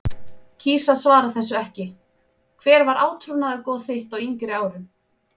kýs að svara þessu ekki Hver var átrúnaðargoð þitt á yngri árum?